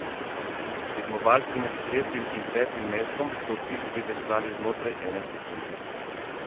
Tekmovalci med tretjim in petim mestom so v cilj priveslali znotraj ene sekunde.